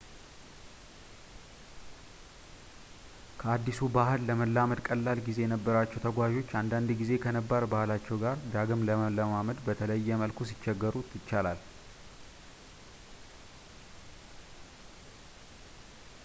ከአዲሱ ባህል ለመላመድ ቀላል ጊዜ የነበራቸው ተጓዞች አንዳንድ ጊዜ ከነባር ባህላቸው ጋር ዳግም ለመለማመድ በተለየ መልኩ ሊቸገሩ ይችላል